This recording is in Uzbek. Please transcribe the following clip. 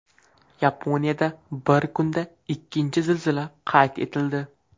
Yaponiyada bir kunda ikkinchi zilzila qayd etildi.